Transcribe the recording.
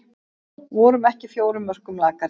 Vorum ekki fjórum mörkum lakari